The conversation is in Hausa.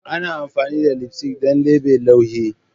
Ana amfani da lipstick don sa lebe laughing.